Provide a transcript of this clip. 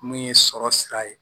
Mun ye sɔrɔ sira ye